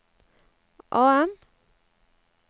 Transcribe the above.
AM